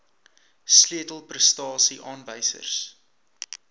sleutel prestasie aanwysers